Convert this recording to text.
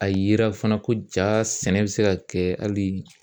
A yera fɛnɛ ko ja sɛnɛ bi se ka kɛ hali